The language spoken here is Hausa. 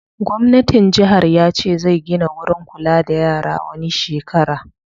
Gwamnatin jihar ya ce zai gina wurin kula da yara wani shekara